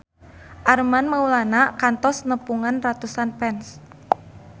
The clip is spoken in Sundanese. Armand Maulana kantos nepungan ratusan fans